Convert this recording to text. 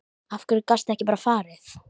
Af hverju gastu ekki bara farið?